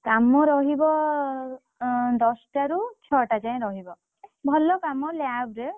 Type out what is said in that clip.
କାମ ରହିବ, ଅଁ ଦଶ ଟାରୁ ଛଅ ଟା ଯାଏ ରହିବ। ଭଲ କାମ lab ରେ,